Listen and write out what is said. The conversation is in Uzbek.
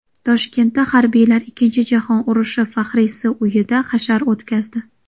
Toshkentda harbiylar ikkinchi jahon urushi faxriysi uyida hashar o‘tkazdi.